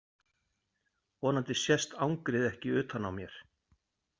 Vonandi sést angrið ekki utan á mér.